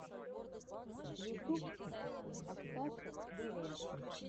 ютюб оксаша дв